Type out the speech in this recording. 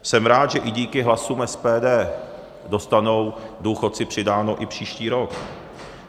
Jsem rád, že i díky hlasům SPD dostanou důchodci přidáno i příští rok.